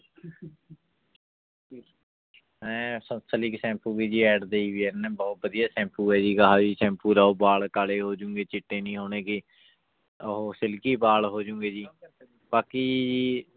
ਹੈਂ Sunsilk shampoo ਵੀ ਜੀ ad ਦੇਈ ਹੋਈ ਹੈ ਇਹਨੇ ਬਹੁਤ ਵਧੀਆ ਸੈਂਪੂ ਹੈ ਜੀ ਸੈਂਪੂ ਲਾਓ ਵਾਲ ਕਾਲੇ ਹੋ ਜਾਣਗੇ ਚਿੱਟੇ ਨਹੀਂ ਹੋਣਗੇ ਉਹ silky ਵਾਲ ਹੋ ਜਾਣਗੇ ਜੀ ਬਾਕੀ ਜੀ